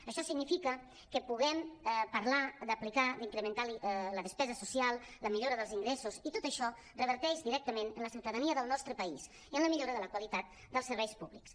això significa que puguem parlar d’aplicar d’incrementar la despesa so·cial la millora dels ingressos i tot això reverteix directament en la ciutadania del nostre país i en la millora de la qualitat dels serveis públics